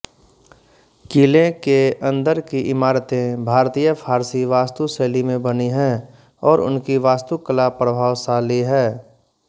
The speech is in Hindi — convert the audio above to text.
किले के अन्दर की इमारतें भारतीयफ़ारसी वास्तुशैली में बनी हैं और उनकी वास्तुकला प्रभावशाली है